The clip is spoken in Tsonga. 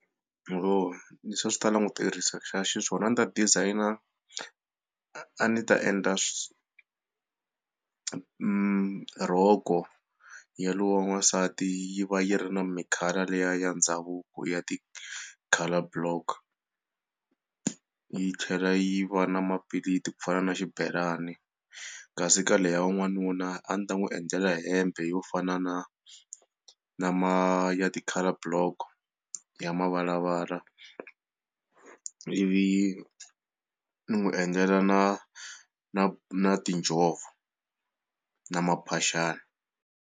leswi a swi ta langutekisa xiswona a ndzi ta designer a ni ta endla rhoko ya loyi wa n'wasati yi va yi ri mi colour liya ya ndhavuko ya ti-colour block yi tlhela yi va na mapilitsi ku fana na xibelani kasi ka leyi ya n'wanuna a ndzi ta n'wi endlela hembe yo fana na na ma ti-colour block ya mavalavala ivi ni n'wi endlela na na na tinjhovo na mphaxani.